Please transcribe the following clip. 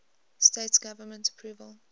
states government approval